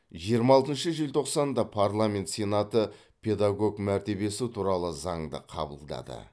жиырма алтыншы желтоқсанда парламент сенаты педагог мәртебесі туралы заңды қабылдады